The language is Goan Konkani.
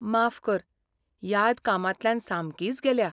माफ कर, याद कामांतल्यान सामकीच गेल्या.